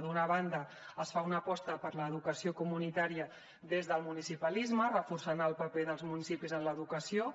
d’una banda es fa una aposta per l’educació comunitària des del municipalisme reforçant el paper dels municipis en l’educació